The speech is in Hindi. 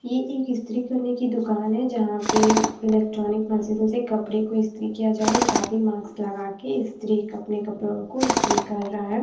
ये एक इस्त्री करने की दुकान है जहाँं पे इलेक्ट्रॉनिक मशीनों से कपड़े को इस्त्री किया जा रहा है एक आदमी मॉक्स लगा के इस्त्री अपने कपड़े को इस्त्री कर रहा है।